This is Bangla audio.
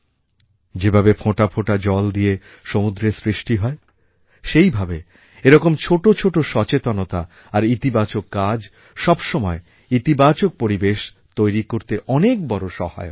যেভাবে ফোঁটা ফোঁটা জল দিয়ে সমুদ্রের সৃষ্টি হয় সেইভাবে এরকম ছোট ছোট সচেতনতা আর ইতিবাচক কাজ সবসময়ই ইতিবাচক পরিবেশ তৈরি করতে অনেক বড় সহায়ক হয়